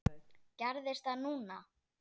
Gerðist það núna?